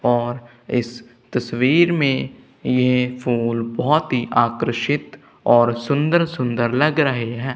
और इस तस्वीर में ये फूल बहुत ही आकर्षित और सुंदर सुंदर लग रहे हैं।